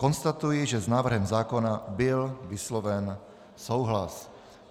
Konstatuji, že s návrhem zákona byl vysloven souhlas.